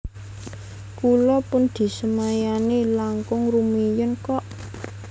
Kula pun disemayani langkung rumiyin kok